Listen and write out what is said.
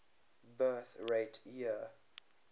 birth rate year